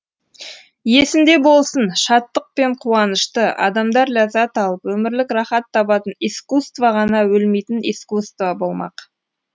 есінде болсын шаттық пен қуанышты адамдар ләззат алып өмірлік рахат табатын искусство ғана өлмейтін искусство болмақ